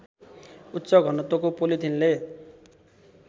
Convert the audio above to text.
उच्च घनत्वको पोलिथिनले